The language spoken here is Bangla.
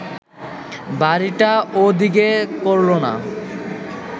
বাড়িটা ও দিকে করল না